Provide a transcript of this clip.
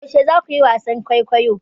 Yaushe za ku yi wasan kwaikwayo?